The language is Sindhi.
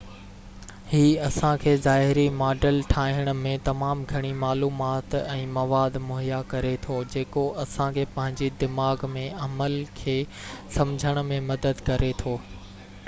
هي اسان کي ظاهري ماڊل ٺاهڻ ۾ تمام گهڻي معلومات ۽ مواد مهيا ڪري ٿو جيڪو اسان کي پنهنجي دماغ ۾ عمل کي سمجهڻ ۾ مدد ڪري ٿو